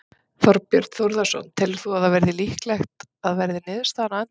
Þorbjörn Þórðarson: Telur þú að það verði líklegt að verði niðurstaðan á endanum?